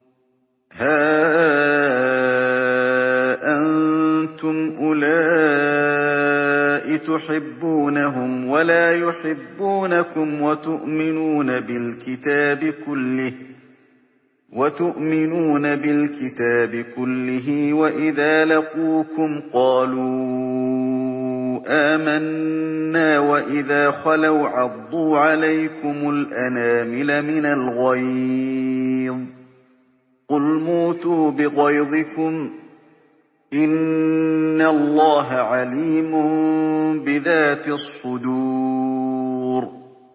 هَا أَنتُمْ أُولَاءِ تُحِبُّونَهُمْ وَلَا يُحِبُّونَكُمْ وَتُؤْمِنُونَ بِالْكِتَابِ كُلِّهِ وَإِذَا لَقُوكُمْ قَالُوا آمَنَّا وَإِذَا خَلَوْا عَضُّوا عَلَيْكُمُ الْأَنَامِلَ مِنَ الْغَيْظِ ۚ قُلْ مُوتُوا بِغَيْظِكُمْ ۗ إِنَّ اللَّهَ عَلِيمٌ بِذَاتِ الصُّدُورِ